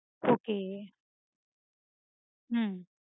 okay உம்